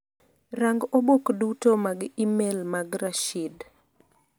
Rang' obok duto mag imel mag Rashid.